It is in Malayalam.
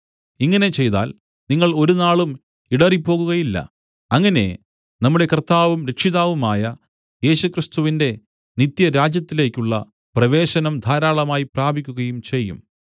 ഇങ്ങനെ ചെയ്താൽ നിങ്ങൾ ഒരുനാളും ഇടറിപ്പോകുകയില്ല അങ്ങനെ നമ്മുടെ കർത്താവും രക്ഷിതാവുമായ യേശുക്രിസ്തുവിന്റെ നിത്യരാജ്യത്തിലേക്കുള്ള പ്രവേശനം ധാരാളമായി പ്രാപിക്കുകയും ചെയ്യും